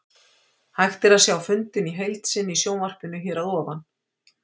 Hægt er að sjá fundinn í heild sinni í sjónvarpinu hér að ofan.